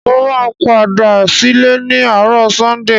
Mo máa padà sílé ni àárò Sunday